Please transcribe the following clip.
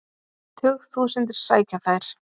Tug þúsundir sækja þær.